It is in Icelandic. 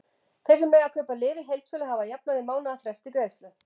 Þeir sem mega kaupa lyf í heildsölu hafa að jafnaði mánaðarfrest til greiðslu.